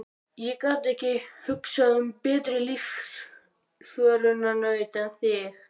Ég get ekki hugsað mér betri lífsförunaut en þig.